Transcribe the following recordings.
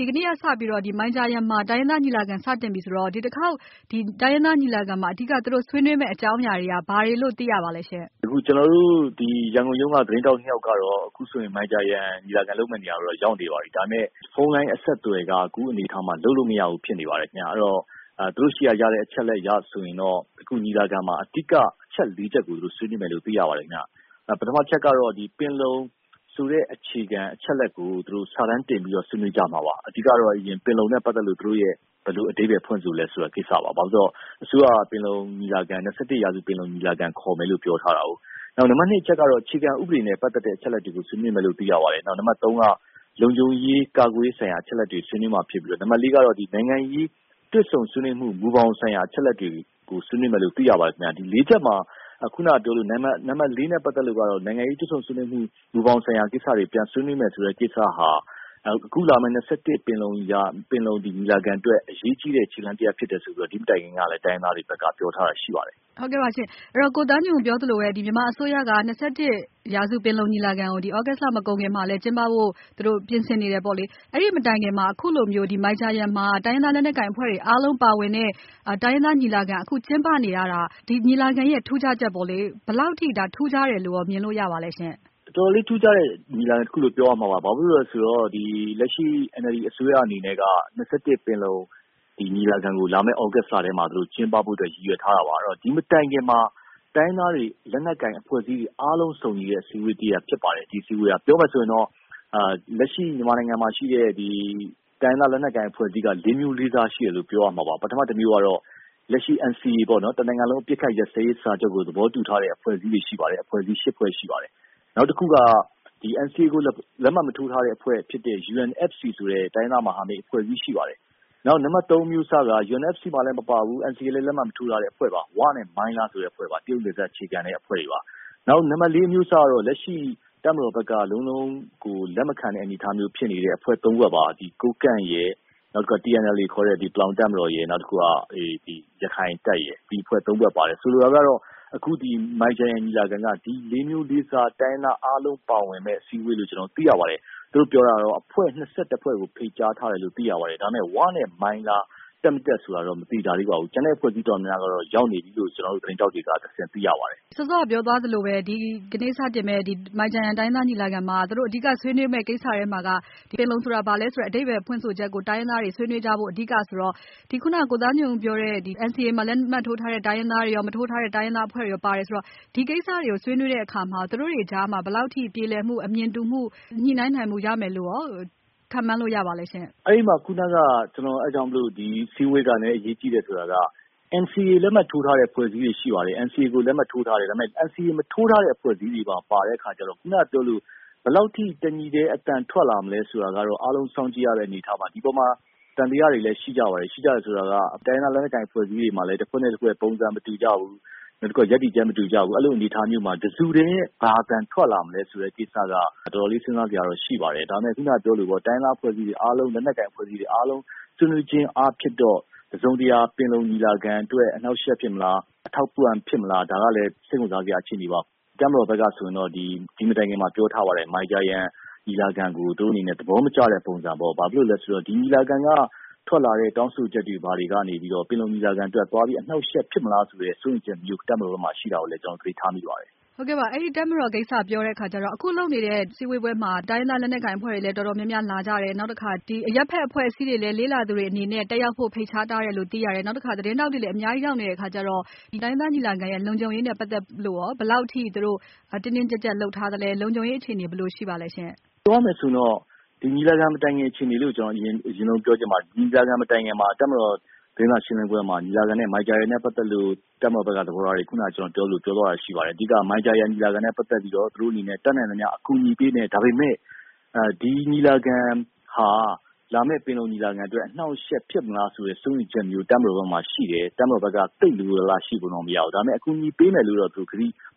ဒီကနေ့ကစပြီးတော့ မိုင်ဂျာယန်မှာ တိုင်းရင်းသားညီလာခံစတင်ပြီဆိုတော့ ဒီတခေါက် တိုင်းရင်းသားညီလာခံမှာ သူတို့ဆွေးနွေးမယ့်အကြောင်းအရာတွေက ဘာတွေလို့သိရပါလဲရှင့်။ ကျနော်တို့ ရန်ကုန်ရုံးက သတင်းထောက် ယောက်ကတော့ ခုဆိုရင် မိုင်ဂျာယန်ညီလာခံလုပ်မယ့်နေရာကို ရောက်နေပါပြီ။ ဒါပေမယ့် ဖုန်းလိုင်းအဆက်အသွယ်က အခုအနေအထားမှာ လုပ်လို့မရဘူးဖြစ်နေပါတယ်။ သူတို့ဆီကရတဲ့ အချက်အလက်အရဆိုရင်တော့ ညီလာခံမှာ အဓိက အချက်လေးချက်ကို ဆွေးနွေးမယ်လို့သိရပါတယ်။ ပထမတချက်ကတော့ ပင်လုံဆိုတဲ့ အခြေခံအချက်အလက်ကို စာတမ်းတင်ပြီးဆွေးနွေးကြမှာပါ။ အဓိကကတော့ ပင်လုံနဲ့ပတ်သက်လို့ ဘယ်လို အဓိပ္ပါယ်ဖွင့်ဆိုလဲဆိုတဲ့ကိစ္စပါ။ ဘာလို့လဲဆိုတော့ အစိုးရက ပင်လုံညီလာခံခေါ်မယ်လို့ ပြောထားတာကြောင့်ပါ။ နံပါတ် အချက်ကတော့ အခြေခံဥပဒေနဲ့ ပတ်သက်တဲ့ အချက်အလက်တွေကို ဆွေးနွေးမယ်လို့ သိရပါတယ်။ နံပါတ် က လုံခြုံရေး၊ ကာကွယ်ရေးဆိုင်ရာ အချက်လက်တွေကို ဆွေးနွေးမှာဖြစ်ပြီးတော့ နံပါတ် ကတော့ နိုင်ငံရေးတွေ့ဆုံဆွေးနွေးမှု မူဘောင်ဆိုင်ရာ အချက်အလက်တွေကို ဆွေးနွေးမယ်လို့ သိရပါတယ်။ နံပါတ်လေးနဲ့ ပတ်သက်လို့ကတော့ နိုင်ငံရေးတွေ့ဆုံဆွေးနွေးမှု မူဘောင်ဆိုင်ရာတွေက ပြန်ဆွေးနွေးမယ်ဆိုတဲ့ကိစ္စဟာ အခုလာမယ့် ပင်လုံညီလာခံအတွက် အရေးကြီးတဲ့ ခြေလှမ်းတရပ်ဖြစ်တယ်ဆိုပြီး ဒီမတိုင်ခင်က တိုင်းရင်းသားတွေဘက်က ပြောထားတာလည်းရှိပါတယ်။ ကိုသားညွှန့်ဦးပြောသလိုပဲ မြန်မာအစိုးရက ရာစုပင်လုံညီလာခံကို ဒီသြဂုတ်လ မကုန်ခင်မှာ သူတို့ ကျင်းပဖို့ ပြင်ဆင်နေတယ်ပေါ့လေ။ အဲဒီမတိုင်ခင်မှာ အခုလိုမျိုး မိုင်ဂျာယန်မှာ တိုင်းရင်းသားလက်နက်ကိုင်အဖွဲ့ တွေ အားလုံးပါဝင်တဲ့ တိုင်းရင်းသားညီလာခံကျင်းပနေရတာ ဘယ်လောက်ထိ ထူးခြားတယ်လို့မြင်လို့ရပါလဲရှင့်။ အတော်လေးထူးခြားတဲ့ညီလာခံပါ။ လက်ရှိ NLD အစိုးရအနေနဲ့က ရာစုပင်လုံညီလာခံကို လာမယ့် သြဂုတ်လအတွင်းမှာ ကျင်းပဖို့အတွက် ရည်ရွယ်ထားတာပါ။ ဒီမတိုင်ခင် တိုင်းရင်းသားလက်နက်ကိုင်အဖွဲ့တွေ အားလုံးပါဝင်တဲ့ အစည်းအဝေးတရပ်ဖြစ်ပါတယ်။ လက်ရှိ မြန်မာနိုင်ငံမှာရှိတဲ့ တိုင်းရင်းသားလက်နက် ကိုင် အဖွဲ့အစည်းက လေးမျိုးလေးစားရှိတယ်လို့ ပြောရမှာပါ။ ပထမတမျိုးကတော့ လက်ရှိ NCA တနိုင်ငံလုံး အပစ်အခတ်ရပ်စဲရေး စာချုပ်ကို သဘောတူထားတဲ့ အဖွဲ့အစည်း ဖွဲ့ရှိပါတယ်။ နောက်တခုက NCA ကို လက်မှတ်မထိုးထားတဲ့အဖွဲ့ ဖြစ်တဲ့ UNFC ဆိုတဲ့ တိုင်းရင်းသားလက်နက်ကိုင်မဟာမိတ်အဖွဲ့အစည်းရှိပါတယ်။ တတိယအမျိုးအစားကတော့ UNFC မှာလည်းမပါဘူး။ NCA မှာလည်း လက်မှတ်ရေးထိုးထားခြင်းမရှိတဲ့ ဝနဲ့ မိုင်လား အဖွဲ့ပါ။ တရုတ်နယ်စပ်အခြေစိုက်အဖွဲ့တွေပါ။ စတုတ္ထအမျိုးအစားကတော့ လက်ရှိတပ်မတော်ဘက် လုံးလုံးလက်မခံတဲ့ အနေအထားမျိုးဖြစ်နေတဲ့ အဖွဲ့ သုံးဖွဲ့ ကိုးကန့်၊ AA ရခိုင့်တပ်မတော်နဲ့ တအောင်းပလောင်တပ်ဖွဲ့ပါ။ ဆိုလိုတာက အခုမိုင်ဂျာယန်ညီလာခံက ဒီလေးမျိုးလေးစား တိုင်းရင်းသားအားလုံး ပါဝင်မယ့် အစည်းအဝေးလို့ ကျနော်တို့ သိရပါတယ်။ သူတို့ပြောတာကတော့ အဖွဲ့ ဖွဲ့ကို ဖိတ်ကြားထားတယ်လို့ သိရပါတယ်။ ဒါပေမဲ့ ဝနဲ့ မိုင်လား က တက်မတက်ဆိုတာ မသေချာသေးပါဘူး။ ကျန်တဲ့အဖွဲ့အစည်းတော်တော်များများကတော့ ရောက်နေပြီလို့ ကျနော်တို့ သတင်းထောက်တွေကတဆင့် သိရပါတယ်။ စောစောကပြောသွားသလိုပဲ ဒီကနေ့စတင်မယ့် မိုင်ဂျာယန်ညီလာခံမှာ သူတို့အဓိကဆွေးနွေးမယ့် ကိစ္စရပ်တွေထဲမှာ ပင်လုံဆိုတာ ဘာလဲဆိုတဲ့ အဓိပ္ပါယ်ဖွင့်ဆိုချက်ကို တိုင်းရင်းသားတွေ အဓိကဆွေးနွေးကြမှာဆိုတော့ NCA မှာလက်မှတ်ရေးထိုးထားတဲ့ အဖွဲ့တွေရော၊ လက်မှတ်ရေးမထိုးထားတဲ့ အဖွဲ့တွေရော ပါတယ်ဆိုတော့ ဒီကိစ္စတွေကို ဆွေးနွေးတဲ့အခါမှာ သူတို့တွေကြားမှာ ဘယ်လောက်ထိ ပြေလည်မှု၊ အမြင်တူမှု၊ ညှိုနှိုင်းနိုင်မှုရမယ်လို့ရော ခန့်မှန်းလို့ရပါလဲရှင့်။ ဒီအစည်းအဝေးက အရေးကြီးတယ်ဆိုတာက အားလုံးပါဝင်နေတယ်ဆိုတာ့ ဘယ်လောက်ထိ တညီတည်း အသံထွက်လာမလဲဆိုတာကတော့ အားလုံးစောင့်ကြည့်ရမယ့် အနေအထားပါ။ ဒီအပေါ်မှာ သံသယတွေလည်းရှိကြပါတယ်။ တိုင်းရင်းသားလက်နက်ကိုင်အဖွဲ့တွေကြားမှာလည်း ပုံစံမတူကြဘူး။ ရပ်တည်ချက်မတူကြဘူး။ အဲဒီလို အနေအထားမှာ တစုတည်းဘာအသံထွက်လာမလဲဆိုတဲ့ကိစ္စက အတော်လေးစဉ်းစားစရာတော့ ရှိပါတယ်။ ဒါပေမဲ့ တိုင်းရင်းသားလက်နက်ကိုင်အဖွဲ့အစည်းတွေအားလုံး ဆွေးနွေးခြင်းအားဖြင့်တော့ တစုံတရာ ပင်လုံညီလာခံအတွက် အထောက်အကူဖြစ်မလား၊ အနှောင့်အယှက်ဖြစ်မလားဆိုတာ စိတ်ဝင်စားစရာအခြေအနေပါ။ တပ်မတော်ဘက်က ဒီမတိုင်ခင်မှာပြောထားပါတယ်။ မိုင်ဂျာယန်ညီလာခံကို သူတို့အနေနဲ့ သဘောမကျတဲ့ပုံစံပေါ့။ ဘာဖြစ်လို့လဲဆိုတော့ မိုင်ဂျာယန်ညီလာခံက ထွက်လာမယ့် တောင်းဆိုချက်တွေကနေ ပင်လုံညီလာခံအတွက် သွားပြီး အနှောင့်အယှက် ဖြစ်မလားဆိုတဲ့ စိုးရိမ်ချက်မျိုး ရှိတာကိုလည်း ကျနော်သတိထားမိပါတယ်။ အဲဒီတပ်မတော်ကိစ္စ ပြောတဲ့အခါကျတော့ အခုလုပ်နေတဲ့ အစည်းအဝေးမှာ တိုင်းရင်းသား လက်နက် ကိုင် အဖွဲ့တွေလည်း တော်တော်များများ လာကြတယ်။ နောက် အရပ်ဖက်အဖွဲ့အစည်းတွေ လဲ လေ့လာသူ တွေအနေနဲ့ တက်ရောက်ဖို့ဖိတ်ကြားထားတယ်လို့လည်း သိရတယ်။ နောက်တခါ သတင်းထောက်တွေလဲ အများကြီး ရောက်နေတဲ့အခါကျတော့ တိုင်းရင်းသားညီလာခံရဲ့ လုံခြုံရေးနဲ့ပတ်သက်လို့ ဘယ်လောက်ထိတင်းတင်းကျပ်ကျပ်လုပ်ထားသလဲ။ ဒီညီလာခံမတိုင်ခင်အခြေအနေ အရင်ဆုံးပြောချင်ပါတယ်။ ဒီညီလာခံမတိုင်ခင်မှာ တပ်မတော်သတင်းစာရှင်းလင်းပွဲမှာ မိုင်ဂျာယန်နဲ့ပတ်သက်လို့ တပ်မတော်ဘက်က သဘောထားတွေ ပြောတဲ့အထဲမှာ အဓိက ဒီညီလာခံနဲ့ပတ်သက်ပြီး သူတို့အနေနဲ့ အတတ်နိုင်ဆုံးအကူအညီပေးမယ်၊ ဒါပေမဲ့ ဒီညီလာခံဟာ လာမယ့် ပင်လုံညီလာခံအတွက် အနှောင့်အယှက်ဖြစ်မလားဆိုတဲ့ စိုးရိမ်ချက်မျိုး တပ်မတော်ဘက်မှာ ရှိတယ်။ ဒီတော့ တပ်မတော်ဘက်က သိပ်လိုလိုလားလားရှိပုံတော့မရဘူး။ ဒါပေမဲ့ အကူအညီပေးမယ်လို့ ကတိ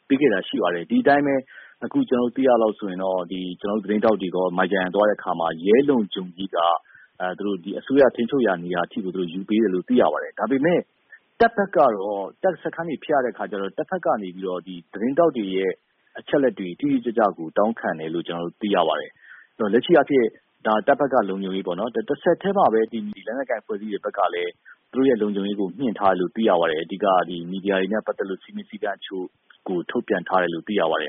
ပေးခဲ့တာရှိပါတယ်။ ဒီအတိုင်းပဲ ကျနော်တို့ သိရသလောက်ဆိုရင်တော့ ကျနော်တို့ သတင်းထောက်တွေ မိုင်ဂျာယန်သွားတဲ့အခါမှာ ရဲလုံခြုံရေးက အစိုးရထိန်းချုပ်ရာနေရာထိ ယူပေးတယ်လို့ သိရပါတယ်။ ဒါပေမဲ့ တပ်ဘက်ကတော့ တပ်စခန်းတွေဖြတ်ရတဲ့အခါကျတော့ တဘက်ကနေ သတင်းထောက်တွေရဲ့ အချက်အလက်အတိအကျတောင်းခံတယ်လို့ ကျနော်တို့ သိရတယ်။ လက်နက်ကိုင်အဖွဲ့အစည်းတွေဘက်ကလည်း သူတို့ရဲ့လုံခြုံရေးကို မြှင့်ထားတယ်လို့ သိရပါတယ်။ မီဒီယာတွေနဲ့ပတ်သက်လို့ စည်းမျဉ်းစည်းကမ်းတချို့ထုတ်ပြန်ထားတယ်လို့လည်း သိရပါတယ်